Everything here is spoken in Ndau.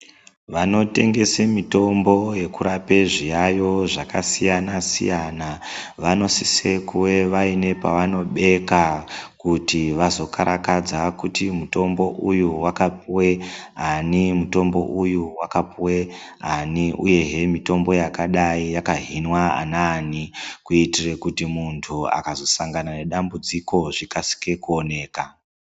Vanotengesa mutombo yekurape zviyayo zvakasiya siyana vanosisa kunge vaive nepavanobeka kuitira kuti vazokarakadza kuti mutombo uyu wakapuwa ani mutombo uyu wakapuwa ani kuitira kuti munhu akazosangana nedambudziko zvikasire kuoneka.